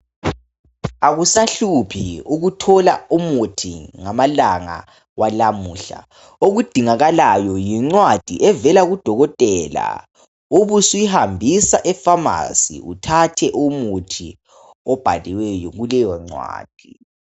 Akusahluphi ukuthola umuthi ngamalanga walamuhla okudingakalayo yincwadi evela kudokotela ubusuyihambisa ePharmacy uthathe umuthi obhaliweyo kuleyo ncwadi